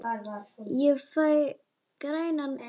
Ég fæ grænar bólur!